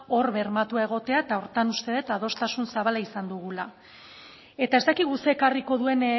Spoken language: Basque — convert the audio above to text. hor bermatua egotea eta horretan uste duz adostasun zabala izan dugula eta ez dakigu zer ekarriko duen